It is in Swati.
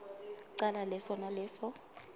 cala leso naleso